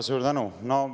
Suur tänu!